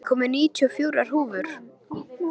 Júní, ég kom með níutíu og fjórar húfur!